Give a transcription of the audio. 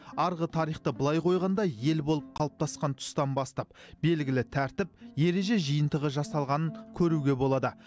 арғы тарихты былай қойғанда ел болып қалыптасқан тұстан бастап белгілі тәртіп ереже жиынтығы жасалғанын көруге болады